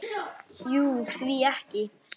Jú, því ekki?